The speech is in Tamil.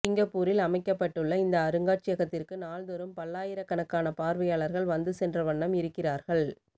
சிங்கப்பூரில் அமைக்கப்பட்டுள்ள இந்த அருங்காட்சியகத்திற்கு நாள்தோறும் பல்லாயிரக்கணக்கான பார்வையாளர்கள் வந்து சென்ற வண்ணம் இருக்கிறார்கள்